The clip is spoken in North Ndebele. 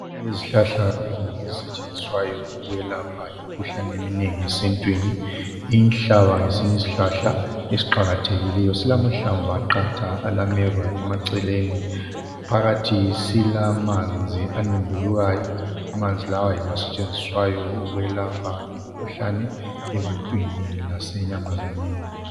Izihlahla ezinengi ezisetshenziswayo ukukwelapha imikhuhlnae eminengi esintwini inhlaba ngesinye isihlahla esiqakathekileyo silamahlamvu aqatha alameva emaceleni phakathi silamanzi anembulukayo amanzi lawa yiwo asetshenziswayo ukwelapha imikhuhlane ebantwini lase nyamazaneni